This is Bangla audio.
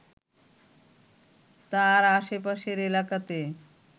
তার আশেপাশের এলাকাতে